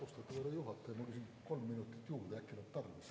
Austatud härra juhataja, ma küsin kolm minutit juurde, äkki läheb tarvis.